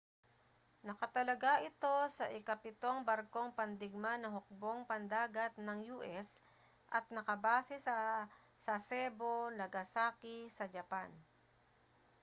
nakatalaga ito sa ikapitong barkong pandigma ng hukbong pandagat ng u.s. at nakabase sa sasebo nagasaki sa japan